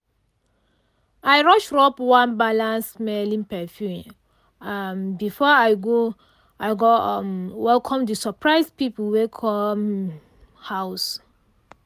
i rush rub one balanced-smelling perfume um before i go i go um welcome the surprise people wey come um house.